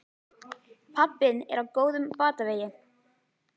Pabbi þinn er á góðum batavegi.